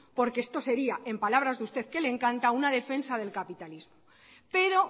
porque esto sería en palabras de usted que le encanta una defensa del capitalismo pero